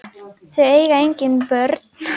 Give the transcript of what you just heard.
Þau eiga engin börn.